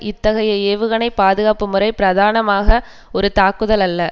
இத்தகைய ஏவுகணை பாதுகாப்பு முறை பிரதானமாக ஒரு தாக்குதல் அல்ல